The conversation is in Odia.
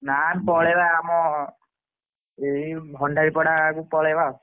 ନା ପଳେଇବା ଆମ ଭଣ୍ଡାରି ପଡା କୁ ପଳେଇବା ଆଉ।